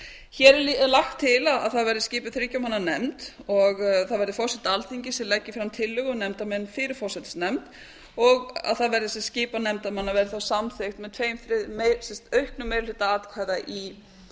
hér er lagt til að það verði skipuð þriggja manna nefnd og það verði forseti alþingis sem leggi fram tillögu um nefndarmenn fyrir forsætisnefnd og að skipan nefndarmanna verði þá samþykkt með auknum meiri hluta atkvæða í